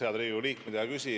Head Riigikogu liikmed!